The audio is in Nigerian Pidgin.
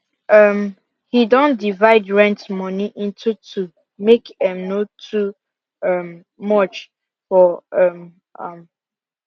um he Accepted divide rent money into two make em no too um much for um am